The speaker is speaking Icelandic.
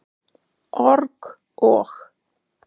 org- og.